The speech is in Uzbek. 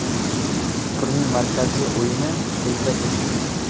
Turning markaziy o‘yini Rimda kechdi.